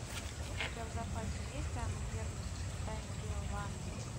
у тебя в запасе есть анна герман тайна белого ангела